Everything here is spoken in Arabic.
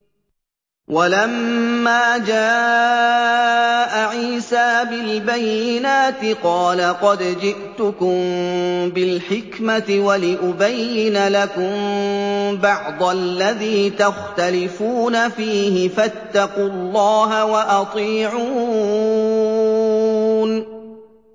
وَلَمَّا جَاءَ عِيسَىٰ بِالْبَيِّنَاتِ قَالَ قَدْ جِئْتُكُم بِالْحِكْمَةِ وَلِأُبَيِّنَ لَكُم بَعْضَ الَّذِي تَخْتَلِفُونَ فِيهِ ۖ فَاتَّقُوا اللَّهَ وَأَطِيعُونِ